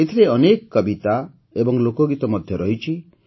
ଏଥିରେ ଅନେକ କବିତା ଏବଂ ଲୋକଗୀତ ମଧ୍ୟ ରହିଛି